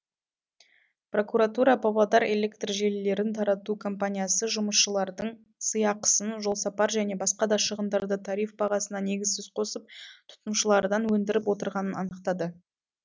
прокуратура павлодар электр желілерін тарату компаниясы жұмысшылардың сыйақысын жолсапар және басқа да шығындарды тариф бағасына негізсіз қосып тұтынушылардан өндіріп отырғанын анықтады